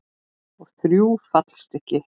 Og þrjú fallstykki.